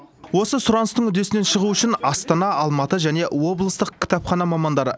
осы сұраныстың үдесінен шығу үшін астана алматы және облыстық кітапхана мамандары